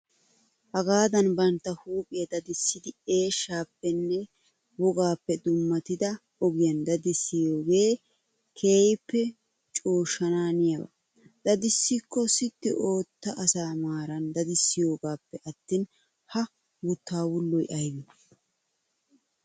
Hagaadan bantta huuphphiyaa dadissiddi eeshshaappenne wogaappe dummatida ogiyaan dadissiyoogee keehippe cooshshanaaniyaaba. Dadissikko sitti ootti asa maaran didissiyoogappe attin ha wuttaa wulloy aybee?